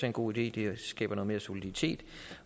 en god idé det skaber noget mere soliditet